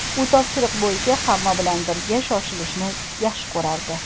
U topshiriq bo‘yicha hamma bilan birga shoshilishni yaxshi ko‘rardi.